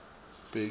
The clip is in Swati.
bheki